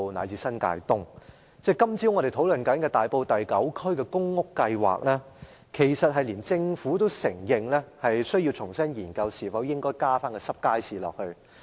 有關今早討論的大埔第9區公屋計劃，即使政府也承認需要重新研究是否應該加入濕貨街市。